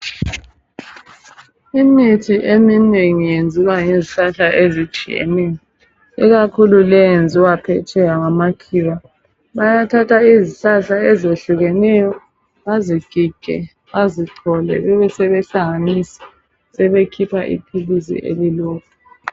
Imithi eminengi yenziwa ngezihlahla ezitshiyeneyo ikakhulu leyi eyenziwa phetsheya ngamakhiwa bayathatha izihlahla ezehlukeneyo bazigige bazichole bebesebe hlanganisa sebekhipha iphilisi elilodwa.